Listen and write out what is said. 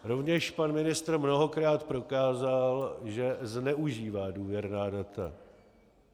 Rovněž pan ministr mnohokrát prokázal, že zneužívá důvěrná data.